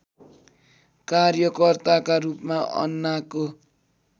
कार्यकर्ताका रूपमा अन्नाको